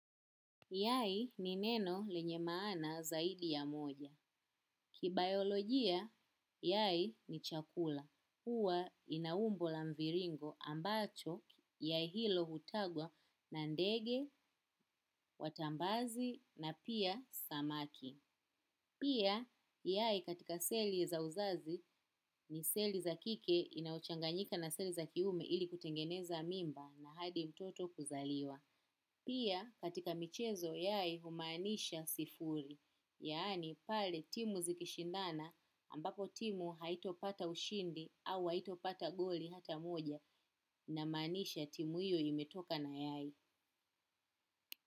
Yai ni neno lenye maana zaidi ya moja. Kibayolojia, yai ni chakula. Huwa ina umbo la mviringo ambacho yai hilo hutagwa na ndege, watambazi na pia samaki. Pia, yai katika seli za uzazi ni seli za kike inauchanganyika na seli za kiume ili kutengeneza mimba na hadi utoto kuzaliwa. Pia katika michezo yai humanisha sifuri, yaani pale timu zikishindana ambako timu haitopata ushindi au haitopata goli hata moja inamaanisha timu hiyo imetoka na yae.